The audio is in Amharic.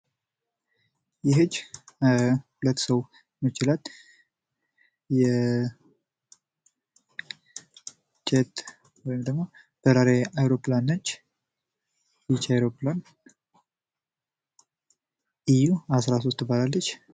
ይህች ሁለት ሰው የሚችላት የጀት ወይም ደግሞ በራሪ አውሮፕላን ነች። ይች አውሮፕላን ኢዩ አስራሶስት ትባላለች።